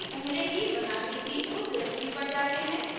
उस डिरेक्टरी पर जाते हैं